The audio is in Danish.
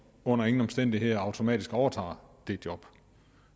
under ingen omstændigheder automatisk overtager jobbet